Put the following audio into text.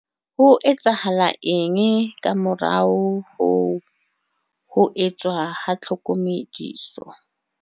Ho etsahala eng ka morao ho ho etswa ha tlhokomediso?